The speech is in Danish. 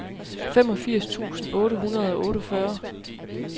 femogfirs tusind otte hundrede og otteogfyrre